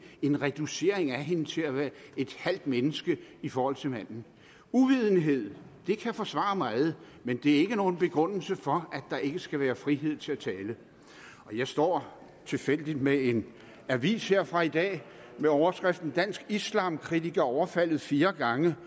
en reducering af hende til at være et halvt menneske i forhold til manden uvidenhed kan forsvare meget men det er ikke nogen begrundelse for at der ikke skal være frihed til at tale jeg står tilfældigvis med en avis her fra i dag med overskriften dansk islamkritiker overfaldet fire gange